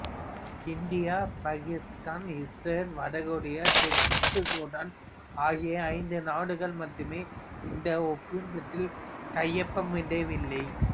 இந்தியாபாக்கித்தான் இசுரேல் வட கொரியா தெற்கு சூடான்ஆகிய ஐந்து நாடுகள் மட்டுமே இந்த ஒப்பந்தத்தில் கையொப்பமிடவில்லை